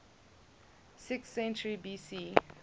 sixth century bc